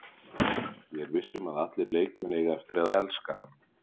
Ég er viss um að allir leikmenn eiga eftir að elska hann.